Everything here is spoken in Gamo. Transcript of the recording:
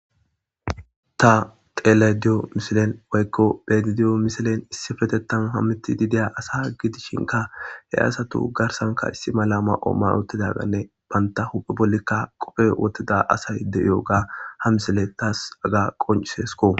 ta xelayidiyo misilen woykko betidiyo misilen issifetettan hammitidi deya asa gidishinka he asatu garsanka issi mala ma7o ma7i uttidaganne banta huphe bollikka qophe wottida asay de7iyoga ha misile taas haga qoncisesko